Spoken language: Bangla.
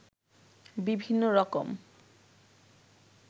বিভিন্ন রকম